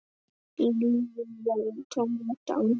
Lífið verður tómlegt án hennar.